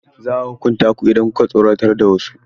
Za a hukunta ku idan ku ka tsoratar da wasu.